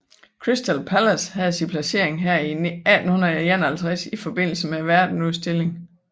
Crystal Palace havde sin placering her i 1851 i forbindelse med verdensudstillingen